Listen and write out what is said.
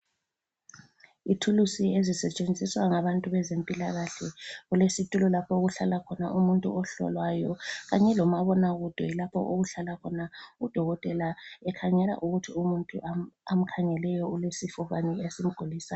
Ithulusi ezisetshenziswa ngabantu bezempilakahle. Kulesitulo lapho okuhlala khona umuntu ohlolwayo kanye lomabonakude lapho okuhlala khona udokotela ekhangela ukuthi umuntu amkhangeleyo ulesifo bani esimgulisayo.